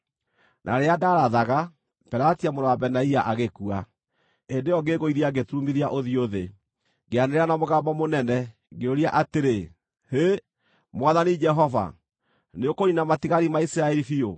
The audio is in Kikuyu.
Na rĩrĩa ndaarathaga, Pelatia mũrũ wa Benaia agĩkua. Hĩndĩ ĩyo ngĩĩgũithia ngĩturumithia ũthiũ thĩ, ngĩanĩrĩra na mũgambo mũnene, ngĩũria atĩrĩ, “Hĩ, Mwathani Jehova! Nĩũkũniina matigari ma Isiraeli biũ?”